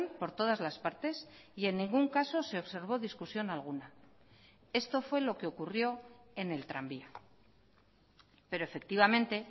por todas las partes y en ningún caso se observó discusión alguna esto fue lo que ocurrió en el tranvía pero efectivamente